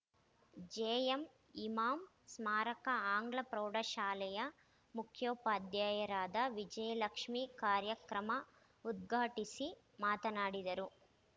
JM Imam ಸ್ಮಾರಕ ಆಂಗ್ಲ ಪ್ರೌಢಶಾಲೆಯ ಮುಖ್ಯೋಪಾಧ್ಯಾಯರಾದ ವಿಜಯಲಕ್ಷ್ಮೀ ಕಾರ್ಯಕ್ರಮ ಉದ್ಘಾಟಿಸಿ ಮಾತನಾಡಿದರು